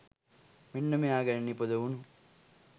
මෙන්න මෙයා ගැන නිපදවුනු